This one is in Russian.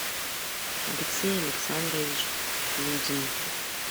алексей александрович лузин